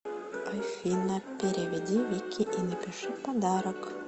афина переведи вике и напиши подарок